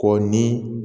K'o ni